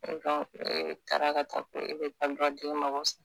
e taara ka taa ko e bɛ taa dɔ den mago sa